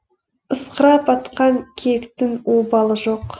ысқырап атқан киіктің обалы жоқ